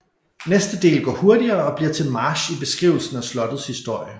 Næste del går hurtigere og bliver til march i beskrivelsen af slottets historie